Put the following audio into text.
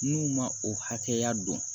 N'u ma o hakɛya dɔn